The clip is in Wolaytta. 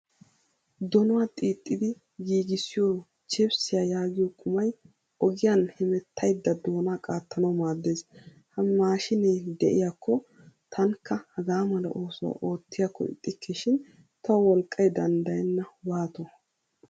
Doonuwaa xiixxidi giigisiyo chipsiya yaagiyo qumay ogiyan hemettayda doona qaattanawu maaddees. Ha maashinne de'iyakko tanikka hagaa mala oosuwaa oottiyakko ixxikkeshin tawu wolqqay danddayenna waato.